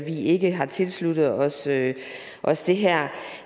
vi ikke har tilsluttet os det os det her